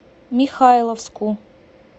михайловску